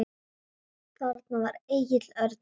Þarna var Egill Örn mættur.